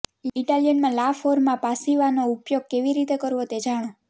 ઇટાલિયનમાં લા ફોર્મા પાસિવાનો ઉપયોગ કેવી રીતે કરવો તે જાણો